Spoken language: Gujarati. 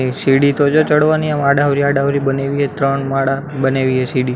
એ સીડી તો જો ચડવાની એમ આદવરી આદવરી બનાઇવી હે ત્રણ માળા બનાઇવી હે સીડી.